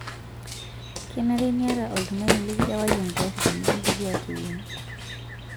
Kenare niayata oltung'ani likirewaki engari tenikindipi aateyieng'.